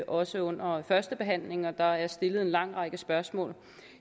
også under førstebehandlingen og der er blevet stillet en lang række spørgsmål